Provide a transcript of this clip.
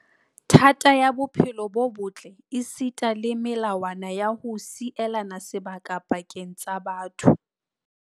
Thata ya bophelo bo botle esita le melawana ya ho sielana sebaka pakeng tsa batho.